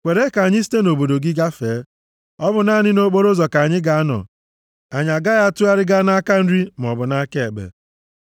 “Kwere ka anyị site nʼobodo gị gafee. Ọ bụ naanị nʼokporoụzọ ka anyị ga-anọ. Anyị agaghị atụgharị gaa nʼaka nri maọbụ nʼaka ekpe.